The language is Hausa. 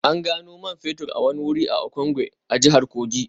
An gano man fetur a wani wuri a Okengwe, jihar Kogi